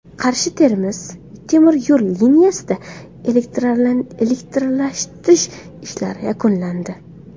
Qarshi Termiz temir yo‘l liniyasida elektrlashtirish ishlari yakunlandi.